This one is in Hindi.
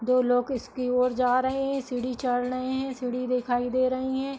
दो लोग इसकी ओर जा रहे हैं। सीढ़ी चढ़ रहे हैं। सीढ़ी दिखाई दे रही हैं।